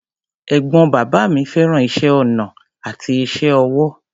Ẹ̀gbọ́n bàbá mi fẹ́ràn iṣẹ́ ọnà àti iṣẹ́ ọwọ́.